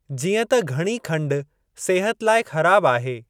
जीअं त घणी खंडु सिहत लाइ ख़राबु आहे।